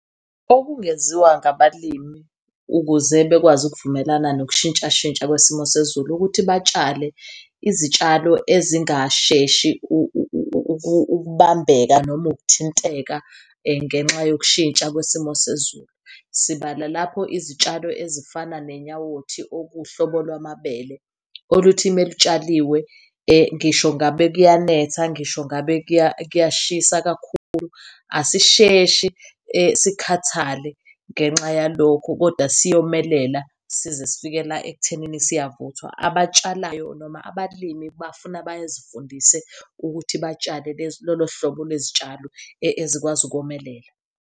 Okungenziwa ngabalimi ukuze bekwazi ukuvumelana nokushintshashintsha kwesimo sezulu, ukuthi batshale izitshalo ezingasheshi ukubambeka noma ukuthinteka ngenxa yokushintsha kwesimo sezulu. Sibala lapho izitshalo ezifana nezinyawothi, okuwuhlobo lwamabele oluthi melutshaliwe ngisho ngabe kuyanetha, ngisho ngabe kuya kuyashisa kakhulu asisheshi sikhathale ngenxa yalokho. Kodwa siyomelela size sifikela ekuthenini siyavuthwa. Abatshalayo noma abalimi bafuna bazifundise ukuthi batshale lolo hlobo lwezitshalo ezikwazi ukomelela.